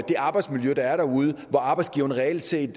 det arbejdsmiljø der er derude hvor arbejdsgiveren reelt set